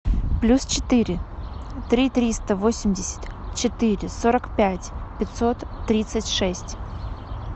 плюс четыре три триста восемьдесят четыре сорок пять пятьсот тридцать шесть